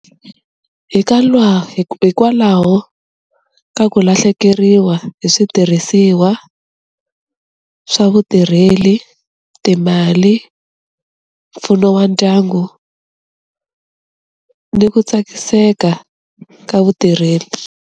Hi ka lwa hikwalaho ka ku lahlekeriwa hi switirhisiwa swa vutirheli timali mpfuno wa ndyangu ni ku tsakiseka ka vutirheli.